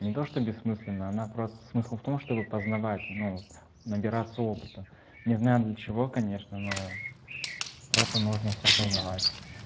не то что бессмысленно она просто смысл в том чтобы познавать ну вот набираться опыта не знаю для чего конечно но просто нужно всё познавать